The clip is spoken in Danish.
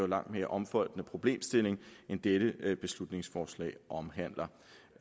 langt mere omfattende problemstilling end dette beslutningsforslag omhandler